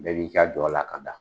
Ne b'i ka jɔla k'an da